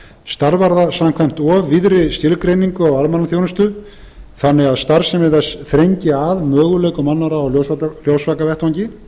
starfar það samkvæmt of víðri skilgreiningu á almannaþjónustu þannig að starfsemi þess þrengi að möguleikum annarra á ljósvakavettvangi